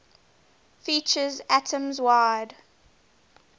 features atoms wide